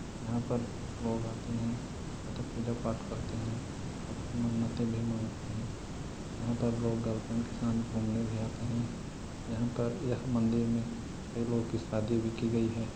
यहाँ पर लोग आते है तथा पूजा पाठ करते है अप मन्नते भी मांगते है यहाँ पर लोग गर्लफ्रेंड के साथ घूमने भी आते है यहाँ पर यह मन्दिर में कई लोग की शादी भी कि गई है।